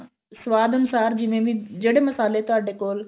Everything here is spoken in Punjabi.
ਸਵਾਦ ਅਨੁਸਾਰ ਜਿਵੇਂ ਵੀ ਜਿਹੜੇ ਵੀ ਮਸਾਲੇ ਤੁਹਾਡੇ ਕੋਲ